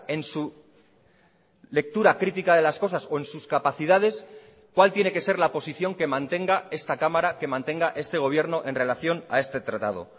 en su lectura crítica de las cosas o en sus capacidades cuál tiene que ser la posición que mantenga esta cámara que mantenga este gobierno en relación a este tratado